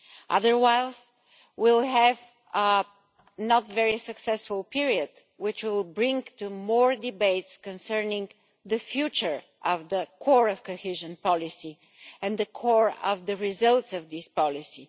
otherwise we will have a not very successful period, which will lead to more debates concerning the future of the core of cohesion policy and the core results of the policy.